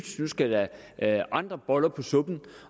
nu skal der andre boller på suppen